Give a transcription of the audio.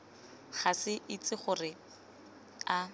ga ke itse gore a